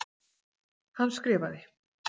Hann skrifaði: